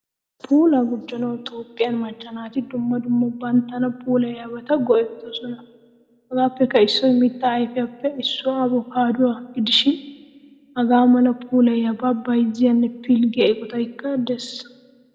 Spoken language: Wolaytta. Puulaa gujjanawu Toophphiyan macca naati dumma dumma banttana puulayiyabata go'ettoosona. Hagaappe issoy miitta ayfiyappe issuwa avokkaduwaa gidishin hagaamala puulayiyaba bayzziyane pilggiya eqqottaykka de'ees.